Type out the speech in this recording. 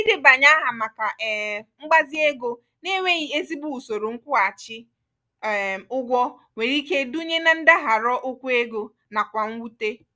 idebanye aha maka um mgbazi ego na-enweghi ezigbo usoro nkwughachi um ụgwọ nwere ike idunye na ndagharo okwu ego nakwa mwute.